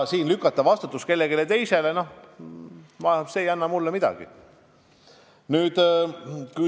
Kui lükata vastutus kellelegi teisele, siis see ei anna mulle midagi.